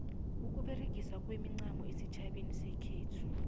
ukuberegiswa kwemincamo esitjhabeni sekhethu